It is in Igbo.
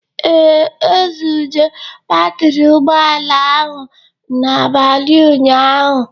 Ee, e zuje batri ụgbọala ahụ n'abalị ụnyaahụ